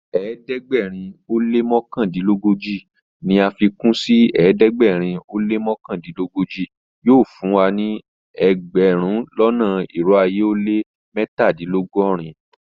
Ẹdẹgbẹ̀rin o lẹ́ mọkandinlọgọ́ji ní afikun sí ẹdẹgbẹ̀rin o lẹ́ mọkandinlọgọ́ji yóò fún ẹgbẹ̀rún lọ́nà irò ayé ó lẹ́ mẹ́tàdìnlọ́gọ́rin.